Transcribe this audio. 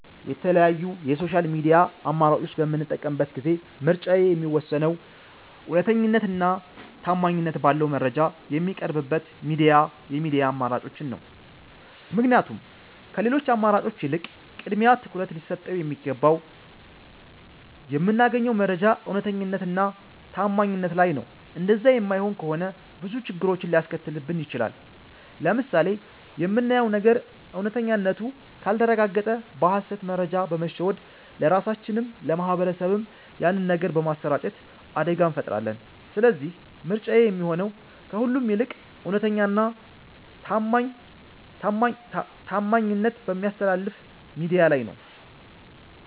የተለያዩ የ ሶሻል ሚድያ አማራጮች በምጠቀምበት ጊዜ ምርጫዬ የሚወሰነው እውነተኛነት እና ታማኝት ባለው መረጃ ሚቀርብበት የሚድያ አማራጮችን ነው። ምክንያቱም ከሌሎቺ አማራጮች ይልቅ ቅድሚያ ትኩረት ሊሰጠው የሚገባው የምናገኘው መረጃ እውነተኛነት እና ታማኝነት ላይ ነው እንደዛ የማይሆን ከሆነ ብዙ ችግሮችን ሊያስከትልብን ይቺላል። ለምሳሌ የምናየው ነገር እውነተኛነቱ ካልተረጋገጠ በ ሀሰት መረጃ በመሸወድ ለራሳቺንም ለ ማህበረሰብም ያንን ነገር በማሰራጨት አደጋ እንፈጥራለን ስለዚህ ምርጫዬ የሚሆነው ከሁሉም ይልቅ እውነተኛ እና ታማኝት በሚያስተላልፍ ሚድያ ላይ ነው